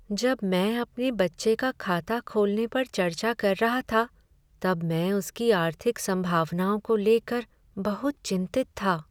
जब मैं अपने बच्चे का खाता खोलने पर चर्चा कर रहा था, तब मैं उसकी आर्थिक संभावनाओं को लेकर बहुत चिंतित था।